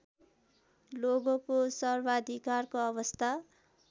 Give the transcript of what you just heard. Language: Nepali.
लोगोको सर्वाधिकारको अवस्था